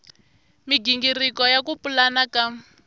migingiriko ya ku pulana ka